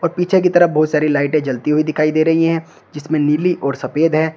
पीछे की तरफ बहुत सारी लाइटें जलती हुई दिखाई दे रही है जिसमें नीली और सफेद है।